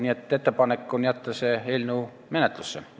Nii et ettepanek on jätta see eelnõu menetlusse.